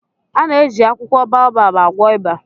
A na-eji akwụkwọ baobab agwọ ịba